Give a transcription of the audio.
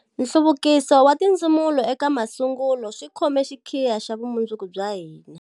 Nhluvukiso wa tindzumulo eka masungulo swi khome xikhiya xa vumundzuku bya hina.